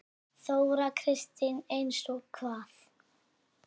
Þóra Kristín: Eins og hvað?